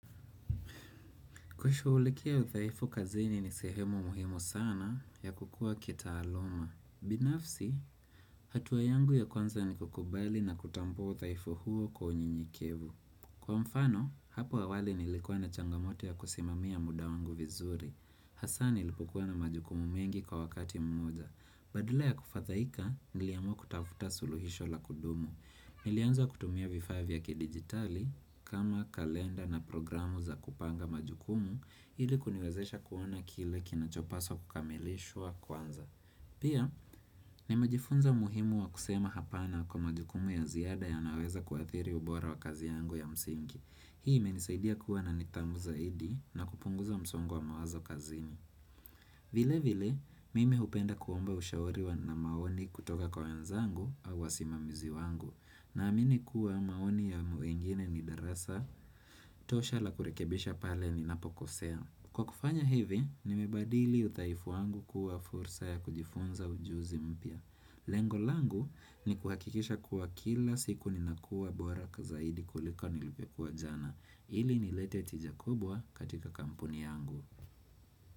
Kushughulikia udhaifu kazini ni sehemu muhimu sana ya kukua kitaaluma. Binafsi, hatua yangu ya kwanza ni kukubali na kutambua udhaifu huu kwa unyenyekevu. Kwa mfano, hapo awali nilikuwa na changamoto ya kusimamia muda wangu vizuri. Hasaa nilipokuwa na majukumu mengi kwa wakati mmoja. Badale ya kufadhaika, niliamua kutafuta suluhisho la kudumu. Nilianza kutumia vifaa vya kidigitali kama kalenda na programu za kupanga majukumu ili kuniwezesha kuona kile kinachopaswa kukamilishwa kwanza. Pia, nimejifunza muhimu wa kusema hapana kwa majukumu ya ziada yanaoweza kuadhiri ubora wa kazi yangu ya msingi. Hii imenisaidia kuwa na nidhamu zaidi na kupunguza msongo wa mawazo kazini. Vile vile, mimi hupenda kuomba ushauri wa na maoni kutoka kwa wenzangu au wasimamizi wangu, naamini kuwa maoni ya wengine ni darasa tosha la kurekebisha pale ninapokosea. Kwa kufanya hivi, nimebadili udhaifu wangu kuwa fursa ya kujifunza ujuzi mpya. Lengo langu ni kuhakikisha kuwa kila siku ninakuwa bora kwa zaidi kulika nilivyokua jana, ili nilete tija kubwa katika kampuni yangu.